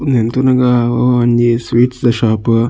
ಉಂದೆನ್ ತೂನಗ ಒವಾ ಒಂಜಿ ಸ್ವೀಟ್ಸ್ ದ ಶೋಪ್ .